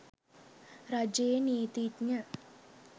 රජයේ නීතිඥ